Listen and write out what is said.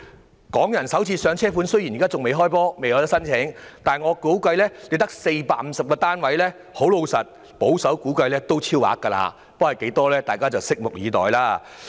至於"港人首置上車盤"，雖然仍未開始接受申請，但由於只有450個單位，保守估計也一定會超額認購。